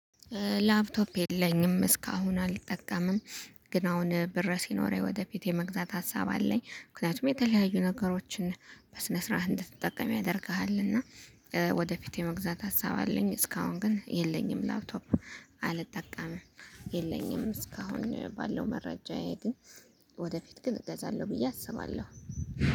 ላፕቶፕ የለኝም እስካሁን አልጠቀምም። ግን አሁን ብር ሲኖረኝ ወደ ቤቴ የመግዛት ሀሳብ አለኝ። ምክንያቱም የተለያዩ ነገሮችን በስነ ስርዓት እንድትጠቀም ያደርግሃ። እና ወደፊት የመግዛት ሀሳብ አለኝ። እስካሁን ግን የለኝም ላፕቶፕ አልጠቀምም። የለኝም እስካሁን ባለው መረጃ መረጃዬ ግን ወደፊት ግን እገዛለሁ። ብዬ አስባለሁ